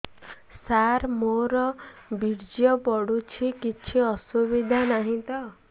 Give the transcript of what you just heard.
ସାର ମୋର ବୀର୍ଯ୍ୟ ପଡୁଛି କିଛି ଅସୁବିଧା ନାହିଁ ତ